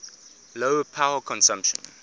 low power consumption